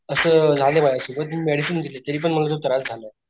अस झालाय माझ्या सोबत मी मेडिसिन घेतले तरी पण मला तो झालाय.